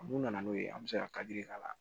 N'u nana n'o ye an bɛ se ka k'a la